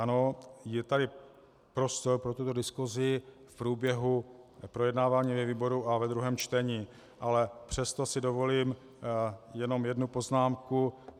Ano, je tady prostor pro tuto diskusi v průběhu projednávání ve výboru a ve druhém čtení, ale přesto si dovolím jenom jednu poznámku.